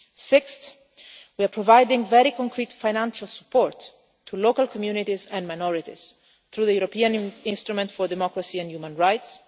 Sixth, we are providing very concrete financial support to local communities and minorities through the European Instrument for Democracy and Human Rights.